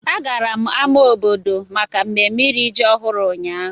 A gara m ámá obodo maka mmemme iri ji ọhụrụ ụnyahụ.